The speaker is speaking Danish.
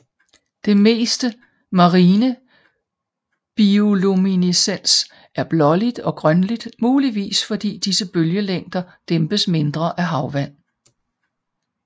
Det meste marine bioluminescens er blåligt og grønligt muligvis fordi disse bølgelængder dæmpes mindre af havvand